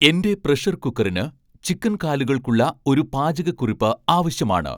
എന്റെ പ്രഷർ കുക്കറിന് ചിക്കൻ കാലുകൾക്കുള്ള ഒരു പാചകക്കുറിപ്പ് ആവശ്യമാണ്